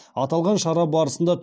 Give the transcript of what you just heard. аталған шара барысында